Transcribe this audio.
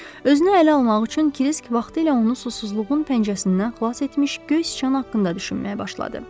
Özünü ələ almaq üçün Kisk vaxtilə onu susuzluğun pəncərəsindən xilas etmiş göy sıçan haqqında düşünməyə başladı.